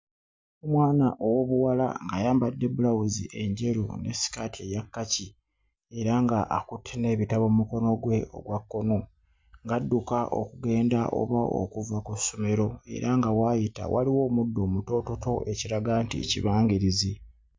Omwana ow'obuwala ayambadde bbulawuzi enjeru ne sikaati eya kkaki era nga akutte n'ebitabo mmukono gwe ogwa kkono ng'adduka okugenda oba kuva ku ssomero era nga w'ayita w'aliwo omuddo omutoototo ekiraga nti kibangirizi.